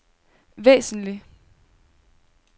væsentlig